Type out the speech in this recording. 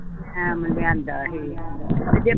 time ਲਿਆਂਦਾ ਹੀ ਤੇ ਜੇ